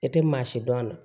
E tɛ maa si dɔn a la